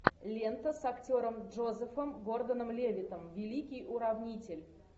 лента с актером джозефом гордоном левиттом великий уравнитель